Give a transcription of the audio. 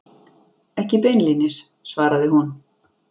Ekki beinlínis, svaraði hún.